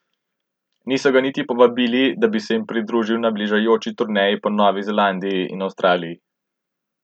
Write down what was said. Niso ga niti povabili, da bi se jim pridružil na bližajoči turneji po Novi Zelandiji in Avstraliji.